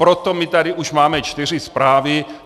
Proto my tady už máme čtyři zprávy.